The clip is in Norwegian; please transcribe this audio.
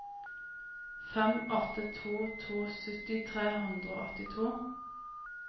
fem åtte to to sytti tre hundre og åttito